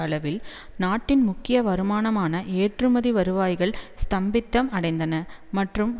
அளவில் நாட்டின் முக்கிய வருமானமான ஏற்றுமதி வருவாய்கள் ஸ்தம்பிதம் அடைந்தன மற்றும்